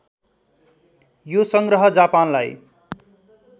यो सङ्ग्रह जापानलाई